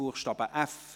Buchstabe f.